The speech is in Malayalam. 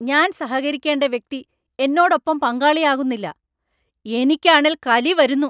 ഞാൻ സഹകരിക്കേണ്ട വ്യക്തി എന്നോടൊപ്പം പങ്കാളിയാകുന്നില്ല, എനിക്കാണേൽ കലി വരുന്നു.